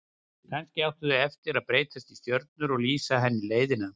Kannski áttu þeir eftir að breytast í stjörnur og lýsa henni leiðina.